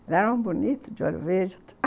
Ele era um bonito de olho verde.